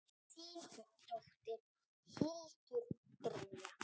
Þín dóttir, Hildur Brynja.